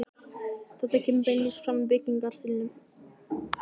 Þetta kemur beinlínis fram í byggingarstílnum.